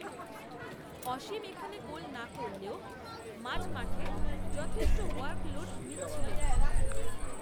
অসীম, এখানে গোল না করলেও, মাঝমাঠে যথেষ্ট ওয়ার্ক লোড নিচ্ছিলেন